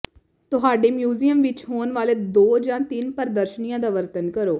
ਤੁਹਾਡੇ ਮਿਊਜ਼ੀਅਮ ਵਿਚ ਹੋਣ ਵਾਲੇ ਦੋ ਜਾਂ ਤਿੰਨ ਪ੍ਰਦਰਸ਼ਨੀਆਂ ਦਾ ਵਰਣਨ ਕਰੋ